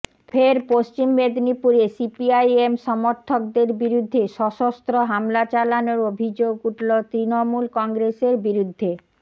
ফের পশ্চিম মেদিনীপুরে সিপিআইএম সমর্থকদের বিরুদ্ধে সশস্ত্র হামলা চালানোর অভিযোগ উঠল তৃণমূল কংগ্রেসের বিরুদ্ধে